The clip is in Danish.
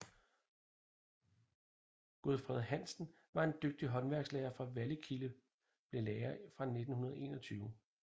Godfred Hansen var en dygtig håndværkslærer fra Vallekilde blev lærer fra 1921